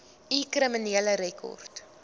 u kriminele rekord